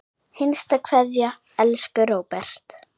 HINSTA KVEÐJA Elsku Róbert.